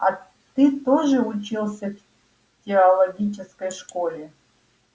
а ты тоже учился в теологической школе